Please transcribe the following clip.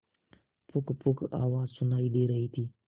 पुकपुक आवाज सुनाई दे रही थी